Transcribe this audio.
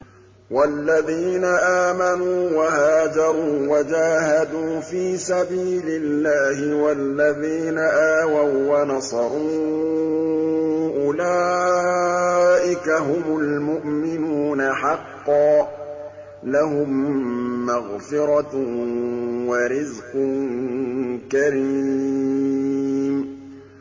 وَالَّذِينَ آمَنُوا وَهَاجَرُوا وَجَاهَدُوا فِي سَبِيلِ اللَّهِ وَالَّذِينَ آوَوا وَّنَصَرُوا أُولَٰئِكَ هُمُ الْمُؤْمِنُونَ حَقًّا ۚ لَّهُم مَّغْفِرَةٌ وَرِزْقٌ كَرِيمٌ